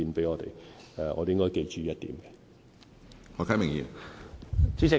我們應該記住這一點。